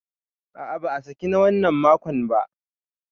A a ba a saki na wannan makon ba.